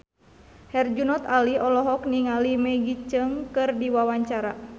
Herjunot Ali olohok ningali Maggie Cheung keur diwawancara